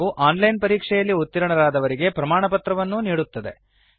ಹಾಗೂ online ಪರೀಕ್ಷೆಯಲ್ಲಿ ಉತ್ತೀರ್ಣರಾದವರಿಗೆ ಪ್ರಮಾಣಪತ್ರವನ್ನು ಕೊಡುತ್ತದೆ